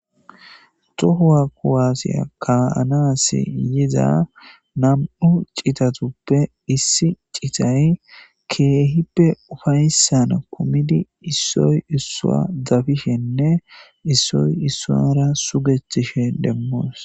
Xohuwa kuwaassiya kaanaas yiza nam'u citatuppe issi citay keehippe ufayssana kumidi issoy issua dabishenne issoy issuara sugethtishe demmoos.